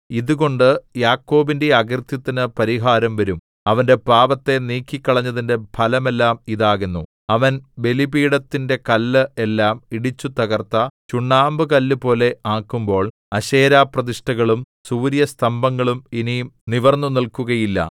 ഇതുകൊണ്ട് യാക്കോബിന്റെ അകൃത്യത്തിനു പരിഹാരം വരും അവന്റെ പാപത്തെ നീക്കിക്കളഞ്ഞതിന്റെ ഫലമെല്ലാം ഇതാകുന്നു അവൻ ബലിപീഠത്തിന്റെ കല്ല് എല്ലാം ഇടിച്ചുതകർത്ത ചുണ്ണാമ്പുകല്ലുപോലെ ആക്കുമ്പോൾ അശേരാപ്രതിഷ്ഠകളും സൂര്യസ്തംഭങ്ങളും ഇനി നിവിർന്നുനില്‍ക്കുകയില്ല